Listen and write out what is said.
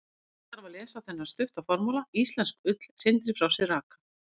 Fyrst þarf að lesa þennan stutta formála: Íslensk ull hrindir frá sér raka.